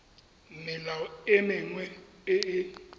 melao e mengwe e e